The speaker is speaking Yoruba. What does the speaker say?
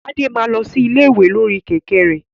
Tade máa lọ sí ilé ìwé lórí kẹ̀kẹ́ rẹ̀.